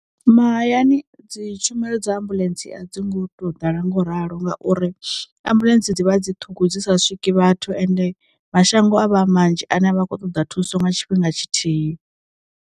Mahayani dzi tshumelo dza ambuḽentse a dzi ngo to ḓala ngo ralo ngauri, ambuḽentse dzivha dzi ṱhungu dzisa swiki vhathu ende mashango a vha manzhi ane a vha khou ṱoḓa thuso nga tshifhinga tshi thihi.